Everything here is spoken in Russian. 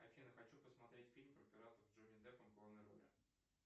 афина хочу посмотреть фильм про пиратов с джонни деппом в главной роли